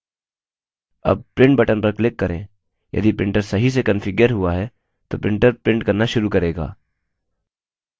अब print button पर click करें यदि printer सही से कन्फिग्यर हुआ है तो printer print करना शुरू करेगा